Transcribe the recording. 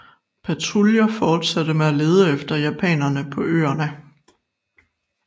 Patruljer fortsatte med at lede efter japanere på øerne